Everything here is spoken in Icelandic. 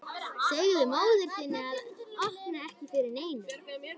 Segðu móður þinni að opna ekki fyrir neinum.